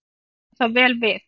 Hér á það vel við.